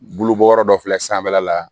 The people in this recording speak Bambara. Bulu bɔ yɔrɔ dɔ filɛ sanfɛla la